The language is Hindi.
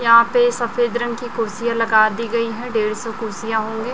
यहां पे सफेद रंग की कुर्सियां लगा दी गई हैं डेढ़ सौ कुर्सियां होंगे।